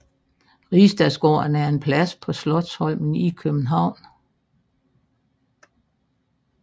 Rigsdagsgården er en plads på Slotsholmen i København